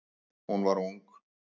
Hún var ung.